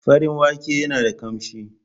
Farin wake yana da kamshi.